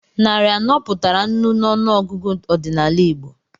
Narị anọ pụtara nnu n'ọnụọgụgụ ọdịnala Igbo.